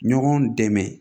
Ɲɔgɔn dɛmɛ